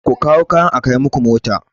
Ku kawo kayan a kai muku mota!